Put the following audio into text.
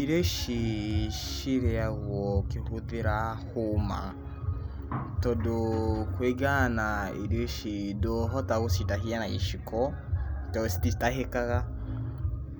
Irio ici cirĩagwo ũkĩhũthĩra hũma, tondũ kũringana na irio ici ndũhota gũcitahia na gĩciko, tondũ cititahĩkaga.